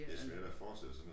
Det svært at forestille sig når